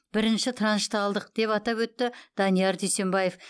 бірінші траншты алдық деп атап өтті данияр дүйсембаев